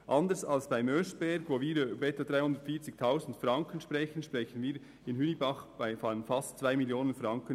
Anders als beim Oeschberg, wo wir von etwa 340 000 Franken sprechen, sprechen wir bei Hünibach von einem Sparbeitrag von fast 2 Mio. Franken.